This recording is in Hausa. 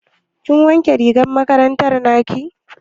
Kin wanke rigar makaranta naki?